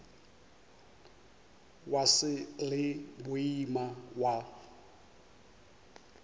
wa š le boima wa